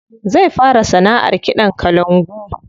Zai fara sanaʼar kiɗan kalangu.